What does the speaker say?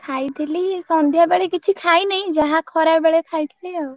ଖାଇଥିଲି ସନ୍ଧ୍ଯା ବେଳେ କିଛି ଖାଇନାହି ଯାହା ଖରାବେଳେ ଖାଇ ଥିଲି ଆଉ।